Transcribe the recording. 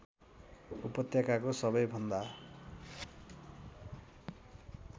उपत्यकाको सबै भन्दा